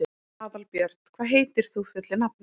Aðalbjörn, hvað heitir þú fullu nafni?